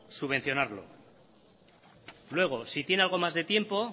subvencionarlo luego si tiene algo más de tiempo